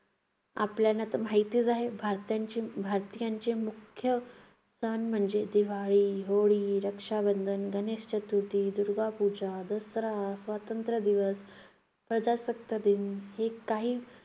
आपल्या तर माहितीच आहे, भारतीयांची भारतीयांची मुख्य सण म्हणजे दिवाळी, होळी, रक्षाबंधन, गणेश चतुर्थी, दुर्गापूजा, दसरा, स्वातंत्र्य दिवस, प्रजासत्ताक दिन हे काही